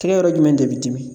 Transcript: Tɛgɛ yɔrɔ jumɛn de bi dimi